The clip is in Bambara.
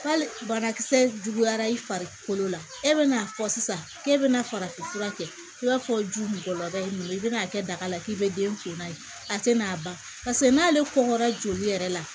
Hali banakisɛ juguyara i farikolo la e bɛna'a fɔ sisan k'e bɛna farafin fura kɛ i b'a fɔ ju mɔgɔ ye mun ye i bɛna'a kɛ daga la k'i bɛ den kunna ye a tɛ n'a ban paseke n'ale kɔngɔra joli yɛrɛ la